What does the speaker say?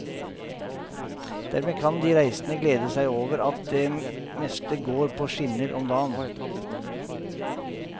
Dermed kan de reisende glede seg over at det meste går på skinner om dagen.